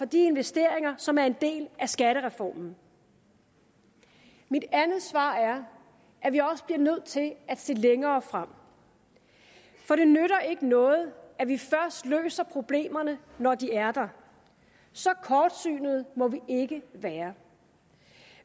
de investeringer som er en del af skattereformen mit andet svar er at vi også bliver nødt til at se længere frem for det nytter ikke noget at vi først løser problemerne når de er der så kortsynede må vi ikke være